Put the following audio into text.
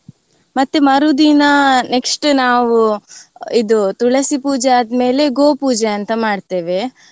ಮತ್ತೆ ಮರುದಿನ next ನಾವು ಇದು ತುಳಸಿ ಪೂಜೆ ಆದ್ಮೇಲೆ ಗೋಪೂಜೆ ಅಂತ ಮಾಡ್ತೇವೆ.